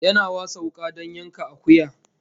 Yana wasa wuka don yanka akuya